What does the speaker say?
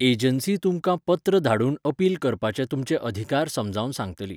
Agency तु्मकां पत्र धाडून अपील करपाचे तुमचे अधिकार समजावन सांगतली.